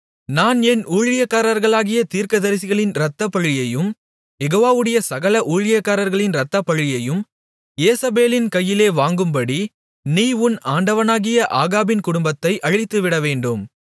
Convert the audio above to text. நான் என் ஊழியக்காரர்களாகிய தீர்க்கதரிசிகளின் இரத்தப்பழியையும் யெகோவாவுடைய சகல ஊழியக்காரர்களின் இரத்தப்பழியையும் யேசபேலின் கையிலே வாங்கும்படி நீ உன் ஆண்டவனாகிய ஆகாபின் குடும்பத்தை அழித்துவிடவேண்டும்